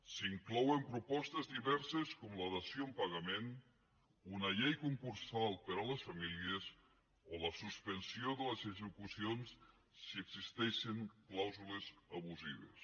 s’hi inclouen propostes diverses com la dació en pagament una llei concursal per a les famílies o la suspensió de les execucions si existeixen clàusules abusives